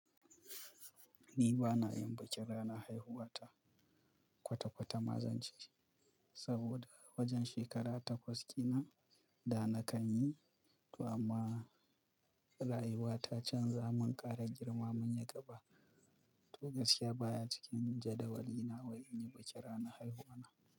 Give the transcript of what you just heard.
Ni ba na yin bikin ranar haihuwa ta kwata-kwata mazance saboda wajen shekara takwas kenan da na kan yi. Amma rayuwa ta canza mun ƙara girma mun yi gaba. To gaskiya baya cikin jadawalina wai in yi bikin ranar haihuwa na.